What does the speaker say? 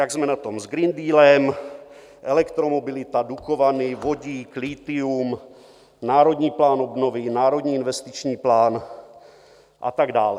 Jak jsme na tom s Green Dealem, elektromobilita, Dukovany, vodík, lithium, Národní plán obnovy, Národní investiční plán a tak dále.